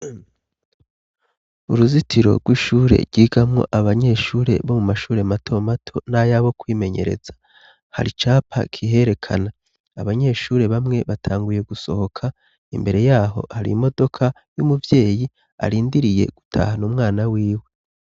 Uruzitiro rw'ishure ryigamwo abanyeshure bo mu mashure mato mato n'ayabo kwimenyereza. Hari icapa kiherekana. Abanyeshure bamwe batanguye gusohoka, imbere yaho hari imodoka y'umuvyeyi arindiriye gutahana umwana wiwe.